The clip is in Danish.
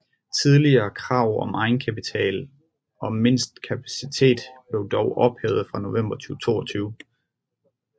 Tidligere krav om egenkapital og mindste kapacitet blev dog ophævet fra november 2022